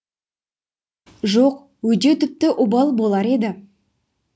жоқ өйдеу тіпті обал болар еді